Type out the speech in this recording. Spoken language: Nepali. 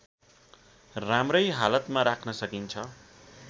राम्रै हालतमा राख्न सकिन्छ